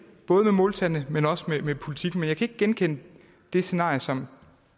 både med måltallene men også med politikken men jeg kan ikke genkende det scenarie som